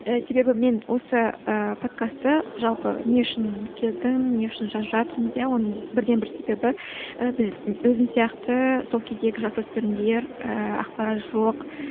себебі мен осы ыыы подкастты жалпы не үшін келдім не үшін жазып жатырмыз иә оның бірден бір себебі ы біз өзім сияқты сол кездегі жасөспірімдер ыыы ақпарат жоқ